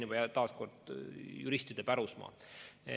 See on juristide pärusmaa.